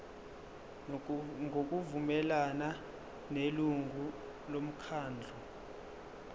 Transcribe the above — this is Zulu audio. ngokuvumelana nelungu lomkhandlu